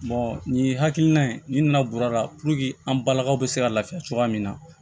nin hakilina in n'i nana bɔrɔ la an balakaw bɛ se ka lafiya cogoya min na